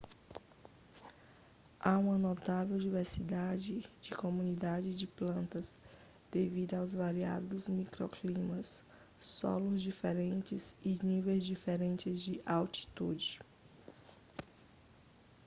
há uma notável diversidade de comunidades de plantas devido aos variados microclimas solos diferentes e níveis diferentes ​​de altitude